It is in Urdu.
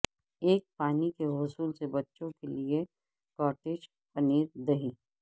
ایک پانی کے غسل سے بچوں کے لئے کاٹیج پنیر دہی